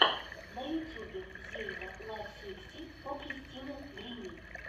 на ютюбе зельда лав сиксти фо кристина гримми